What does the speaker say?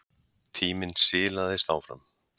Tíminn silaðist áfram.